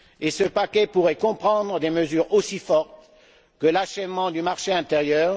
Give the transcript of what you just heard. Ce paquet pourrait comprendre des mesures aussi fortes que l'achèvement du marché intérieur.